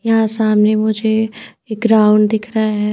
यहाँ सामने मुझे एक राउंड दिख रहा है।